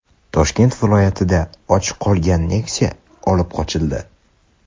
Toshkent viloyatida ochiq qolgan Nexia olib qochildi.